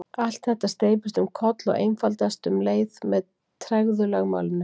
allt þetta steypist um koll og einfaldast um leið með tregðulögmálinu